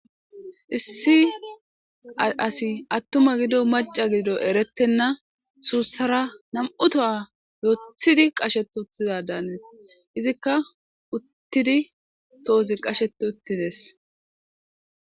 Issi asi attuma gido maca gido erettenna suussara nam7u toha yothidi qasheti uttizadaane izikka uttidi toozi qasheti uttides.